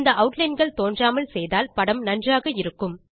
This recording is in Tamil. இந்த outlineகள் தோன்றாமல் செய்தால் படம் நன்றாக இருக்கும்